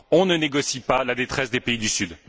On ne négocie pas la détresse des pays du Sud.